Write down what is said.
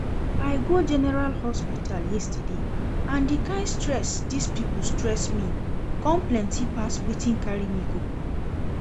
I go general hospital yesterday and the kyn stress dis people stress me come plenty pass wetin carry me go